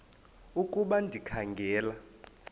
ukuba ndikha ngela